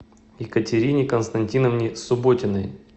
екатерине константиновне субботиной